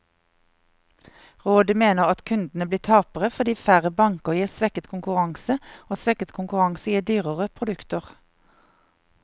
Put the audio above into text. Rådet mener at kundene blir tapere, fordi færre banker gir svekket konkurranse, og svekket konkurranse gir dyrere produkter.